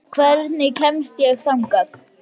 Herbjört, hvernig kemst ég þangað?